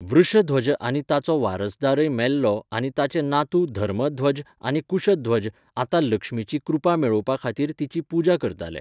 वृषध्वज आनी ताचो वारसदारय मेल्लो आनी ताचे नातू धर्मध्वज आनी कुशध्वज आतां लक्ष्मीची कृपा मेळोवपा खातीर तिची पुजा करताले.